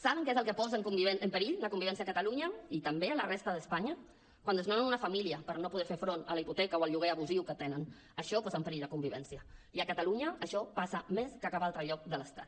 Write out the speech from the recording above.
saben què és el que posa en perill la convivència a catalunya i també a la resta d’espanya quan desnonen una família per no poder fer front a la hipoteca o al lloguer abusiu que tenen això posa en perill la convivència i a catalunya això passa més que a cap altre lloc de l’estat